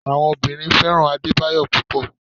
Àwọn obìnrin fẹ́ràn Adebayo púpò.